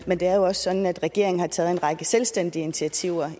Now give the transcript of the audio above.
men det er jo også sådan at regeringen har taget en række selvstændige initiativer